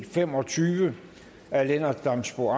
fem og tyve af lennart damsbo